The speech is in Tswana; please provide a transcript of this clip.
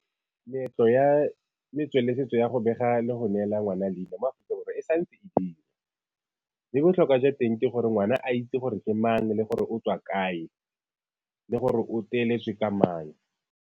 Meetlo ya setso le setso ya go bega le go neela ngwana leina mo Aforika Borwa e sa ntse e dira, mme botlhokwa jwa teng ke gore ngwana a itse gore ke mang le gore o tswa kae, le gore o ka mang.